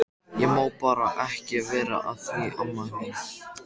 Ég má bara ekki vera að því amma mín.